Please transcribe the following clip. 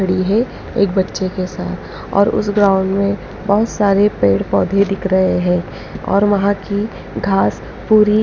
खड़ी है एक बच्चे के साथ और उस ग्राउंड में बहुत सारे पेड़ पौधे दिख रहे हैं और वहाँ की घास पूरी--